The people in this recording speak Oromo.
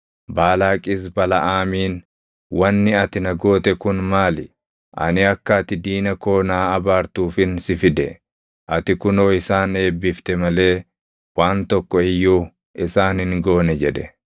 Baalaaqis Balaʼaamiin, “Wanni ati na goote kun maali? Ani akka ati diina koo naa abaartuufin si fide; ati kunoo isaan eebbifte malee waan tokko iyyuu isaan hin goone!” jedhe.